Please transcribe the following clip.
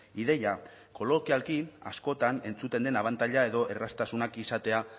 ideia kolokialki askotan entzuten den abantaila edo erraztasunak izatea